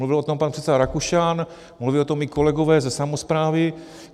Mluvil o tom pan předseda Rakušan, mluví o tom i kolegové ze samosprávy.